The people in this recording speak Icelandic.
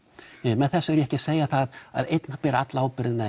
með þessu er ég ekki að segja það að einn beri alla ábyrgðina